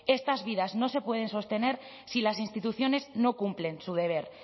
estas vidas no se pueden sostener si las instituciones no cumplen su deber